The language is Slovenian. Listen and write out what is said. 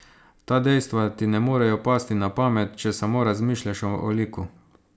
Ta dejstva ti ne morejo pasti na pamet, če samo razmišljaš o liku.